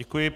Děkuji.